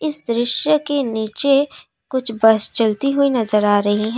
इस दृश्य के नीचे कुछ बस चलती हुई नजर आ रही हैं।